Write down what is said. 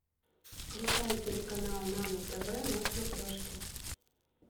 включай телеканал нано тв на смотрешке